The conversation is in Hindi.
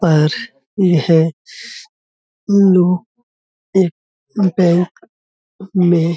पर यह लोग एक बैंक में --